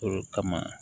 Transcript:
O kama